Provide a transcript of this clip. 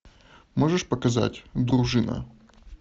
можешь показать дружина